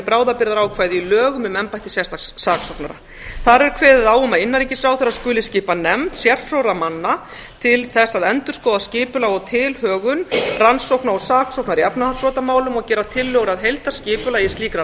bráðabirgðaákvæði í lögum um embætti sérstaks saksóknara þar er kveðið á um að innanríkisráðherra skuli skipa nefnd sérfróðra manna til þess að endurskoða skipulag og tilhögun rannsókna og saksóknar í efnahagsbrotamálum og gera tillögur að heildarskipulagi slíkra